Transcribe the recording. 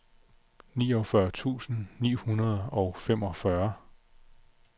niogfyrre tusind ni hundrede og femogfyrre